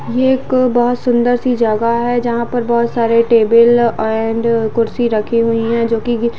ये एक बहोत सुंदर सी जगह है जहां पर बहोत सारे टेबल एंड कुर्सी रखी हुई है जो की --